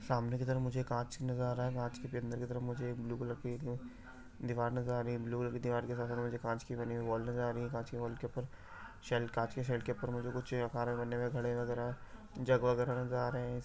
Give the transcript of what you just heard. सामने की तरफ मुझे कांच नज़र आ रहा है कांच के भी अंंदर की तरफ मुझे एक ब्लू कलर की एक दिवाल नज़र आ रही है ब्लू कलर दिवार के साथ साथ मुझे कांच की बनी हुई वाल नज़र आ रही है काँच की वाल के ऊपर शेल काँच के शेल के ऊपर मुझे कुछ वगैरह वगैरह जग वगैरह नजर आ रहे हैं।